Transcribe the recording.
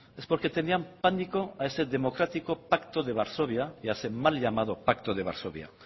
es porque tenían pánico a ese democrático pacto de varsovia y a ese mal llamado pacto de varsovia